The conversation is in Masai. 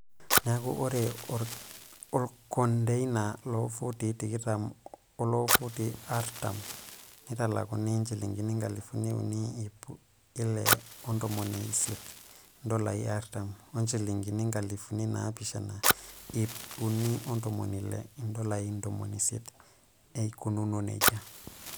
Neeku, ore olkondeina loofutii tikitam oloofutii artam netalakuni njilingini nkalifuni unii, iip ile o ntomoni isiet(indolai artam) oo njilingini nkalifuni naapishana, iip unii ontomoni ile( indolai indomon isiet) eikununo nejia.